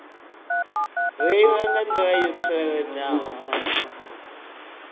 reila nga nḓila yo tsireledzeaho